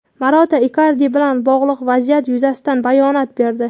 Marotta Ikardi bilan bog‘liq vaziyat yuzasidan bayonot berdi.